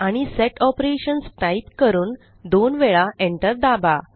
आणि set Operations type करून दोन वेळा Enter दाबा